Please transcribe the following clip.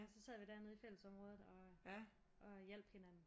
Så sad vi dernede i fællesområdet og hjalp hinanden